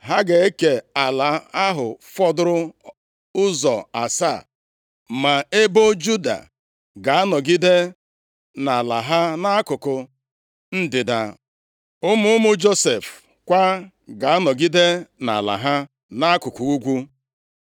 Ha ga-eke ala ahụ fọdụrụ ụzọ asaa. Ma ebo Juda ga-anọgide nʼala ha nʼakụkụ ndịda, ụmụ ụmụ Josef kwa ga-anọgide nʼala ha nʼakụkụ ugwu.